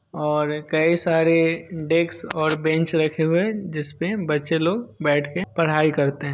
और कई सारे डेस्क और बेंच रखे हुए है जिसपे बच्चे लोग बैठ के पढ़ाई करते है।